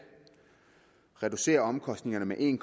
reducere omkostningerne med en